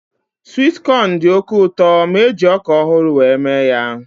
Swit kọn dị oké ụtọ ma eji ọka ọhụrụ were mee ya